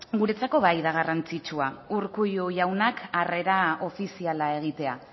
guretzako bai da garrantzitsua urkullu jaunak harrera ofiziala egitea